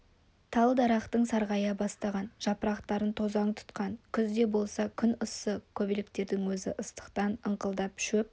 тал-дарақтың сарғая бастаған жапырақтарын тозаң тұтқан күз де болса күн ыссы көбелектердің өзі ыстықтан ыңқылдап шөп